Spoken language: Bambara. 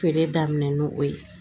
Feere daminɛn ni o ye